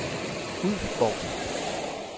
Ulfborg